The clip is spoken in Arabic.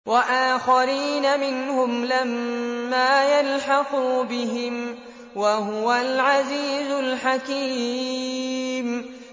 وَآخَرِينَ مِنْهُمْ لَمَّا يَلْحَقُوا بِهِمْ ۚ وَهُوَ الْعَزِيزُ الْحَكِيمُ